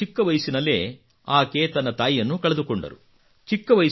ಬಹಳ ಚಿಕ್ಕ ವಯಸ್ಸಿನಲ್ಲೇ ಆಕೆ ತನ್ನ ತಾಯಿಯನ್ನು ಕಳೆದುಕೊಂಡರು